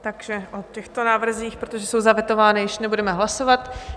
Takže o těchto návrzích, protože jsou zavetovány, již nebudeme hlasovat.